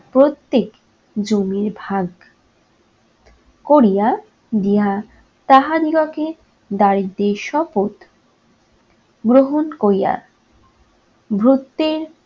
প্রত্যেক জমিরভাগ করিয়া দিয়া তাহাদিগকে দারিদ্র্যের শপথ গ্রহণ করিয়া ভুত্বের